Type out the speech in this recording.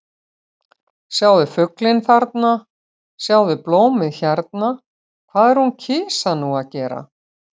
Sjáðu fuglinn þarna, sjáðu blómið hérna- hvað er hún kisa nú að gera?